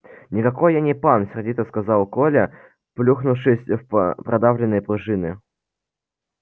никакой я не пан сердито сказал коля плюхнувшись в продавленные пружины